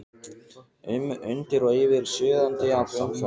um, undir og yfir, suðandi af umferð.